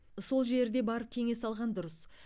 сол жерде барып кеңес алған дұрыс